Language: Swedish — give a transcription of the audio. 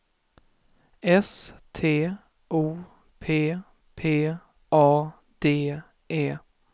S T O P P A D E